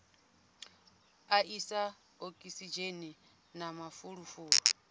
a isa okisidzheni na mafulufulu